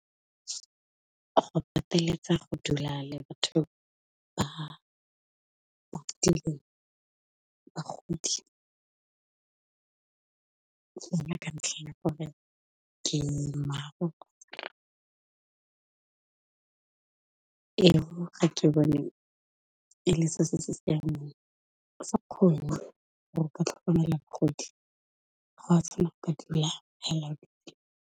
Go pateletsa go dula le batho ba bagodi, ka ntlheng ya gore ke mang e le se se siameng. Ha o sa kgone gore o ka tlhokomela bagodi, .